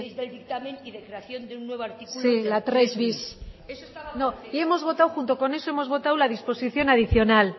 del dictamen y de creación de un nuevo artículo la tres bis la tres bis eso estaba no y junto con eso hemos votado la disposición adicional